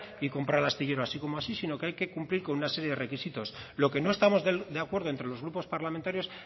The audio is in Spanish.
y comprar el astillero así como así sino que hay que cumplir con una serie de requisitos lo que no estamos de acuerdo entre los grupos parlamentarios